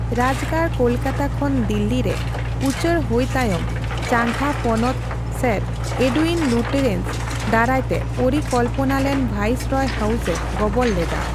ᱨᱟᱡᱽᱜᱟᱲ ᱠᱳᱞᱠᱟᱛᱟ ᱠᱷᱚᱱ ᱫᱤᱞᱞᱤ ᱨᱮ ᱩᱪᱟᱹᱲ ᱦᱳᱭ ᱛᱟᱭᱚᱢ ᱪᱟᱜᱷᱟ ᱯᱚᱱᱚᱛ ᱥᱮᱨ ᱮᱰᱩᱭᱤᱱ ᱞᱩᱴᱤᱭᱮᱱᱥ ᱫᱟᱨᱟᱭ ᱛᱮ ᱯᱚᱨᱤᱠᱚᱞᱯᱚᱱᱟᱞᱮᱱ ᱵᱷᱟᱭᱤᱥᱚᱨᱚᱭ ᱦᱟᱣᱩᱥᱮ ᱜᱚᱵᱚᱞ ᱞᱮᱫᱟ ᱾